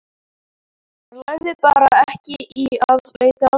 Hann lagði bara ekki í að leita að þeim.